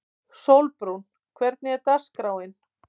Sólbrún, hvernig er dagskráin?